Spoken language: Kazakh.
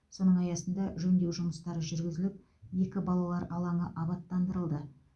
соның аясында жөндеу жұмыстары жүргізіліп екі балалар алаңы абаттандырылды